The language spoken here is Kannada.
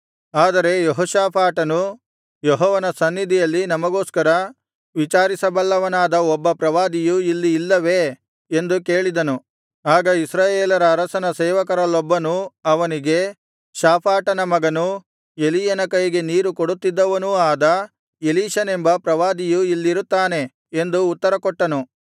ಆದರೆ ಯೆಹೋಷಾಫಾಟನು ಯೆಹೋವನ ಸನ್ನಿಧಿಯಲ್ಲಿ ನಮಗೋಸ್ಕರ ವಿಚಾರಿಸಬಲ್ಲವನಾದ ಒಬ್ಬ ಪ್ರವಾದಿಯು ಇಲ್ಲಿ ಇಲ್ಲವೇ ಎಂದು ಕೇಳಿದನು ಆಗ ಇಸ್ರಾಯೇಲರ ಅರಸನ ಸೇವಕರಲ್ಲೊಬ್ಬನು ಅವನಿಗೆ ಶಾಫಾಟನ ಮಗನು ಎಲೀಯನ ಕೈಗೆ ನೀರು ಕೊಡುತ್ತಿದ್ದವನೂ ಆದ ಎಲೀಷನೆಂಬ ಪ್ರವಾದಿಯು ಇಲ್ಲಿರುತ್ತಾನೆ ಎಂದು ಉತ್ತರಕೊಟ್ಟನು